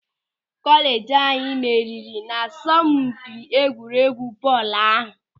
Kọleeji anyị meriri n'asọmpị egwuregwu bọọlụ ahụ.